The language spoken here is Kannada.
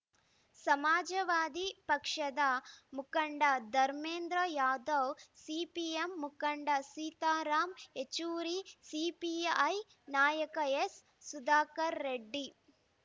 ಸಮಾಜವಾದಿ ಪಕ್ಷದ ಮುಖಂಡ ಧರ್ಮೇಂದ್ರ ಯಾದವ್‌ ಸಿಪಿಎಂ ಮುಖಂಡ ಸೀತಾರಾಮ್‌ ಯೆಚೂರಿ ಸಿಪಿಐ ನಾಯಕ ಎಸ್‌ ಸುಧಾಕರ್‌ ರೆಡ್ಡಿ